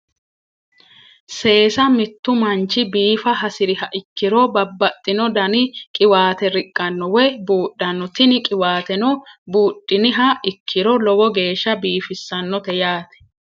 Seesa mittu manchi biifa hasiriha ikkiro babbaxxino dani qiwaate riqqanno woyi buudhanno tini qiwaateno buudhiniha ikkiro lowo geeshsha biifissannote yaate